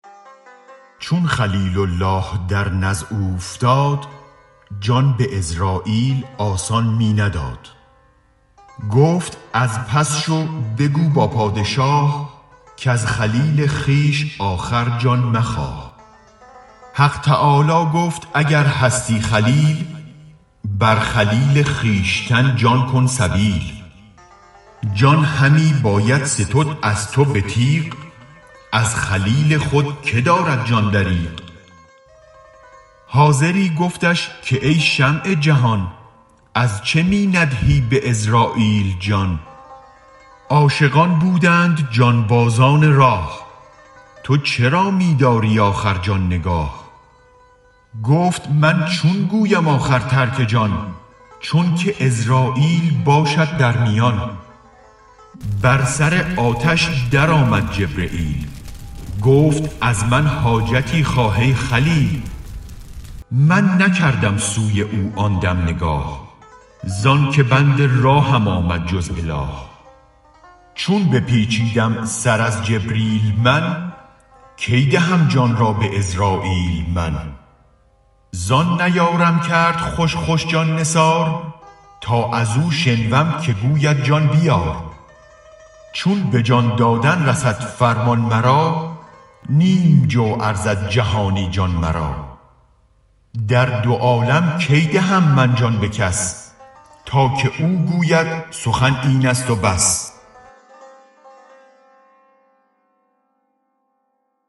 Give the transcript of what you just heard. چون خلیل الله درنزع اوفتاد جان به عزراییل آسان می نداد گفت از پس شو بگو با پادشاه کز خلیل خویش آخر جان مخواه حق تعالی گفت اگر هستی خلیل بر خلیل خویشتن جان کن سبیل جان همی باید ستد از تو به تیغ از خلیل خود که دارد جان دریغ حاضری گفتش که ای شمع جهان ازچه می ندهی به عزراییل جان عاشقان بودند جان بازان راه تو چرا می داری آخر جان نگاه گفت من چون گویم آخر ترک جان چونک عزراییل باشد در میان بر سر آتش درآمد جبرییل گفت از من حاجتی خواه ای خلیل من نکردم سوی او آن دم نگاه زانک بند راهم آمد جز اله چون بپیچیدم سر از جبریل من کی دهم جان را به عزراییل من زان نیارم کرد خوش خوش جان نثار تا از و شنوم که گوید جان بیار چون به جان دادن رسد فرمان مرا نیم جو ارزد جهانی جان مرا در دو عالم کی دهم من جان به کس تا که او گوید سخن اینست و بس